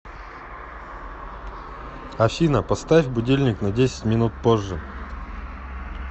афина поставь будильник на десять минут позже